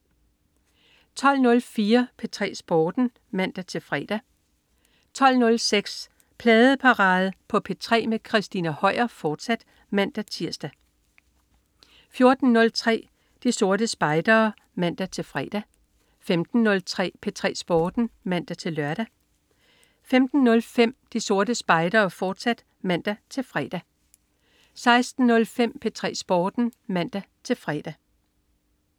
12.04 P3 Sporten (man-fre) 12.06 Pladeparade på P3 med Christina Høier, fortsat (man-tirs) 14.03 De Sorte Spejdere (man-fre) 15.03 P3 Sporten (man-lør) 15.05 De Sorte Spejdere, fortsat (man-fre) 16.05 P3 Sporten (man-fre)